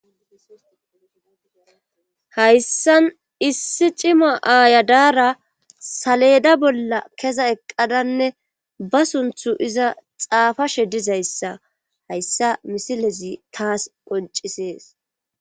Hayssan issi cimo aayadaara saleda bolla kesa eqqadanne ba sunthu iza xaafashe dizayssa hayssa misilezi taas qoncisees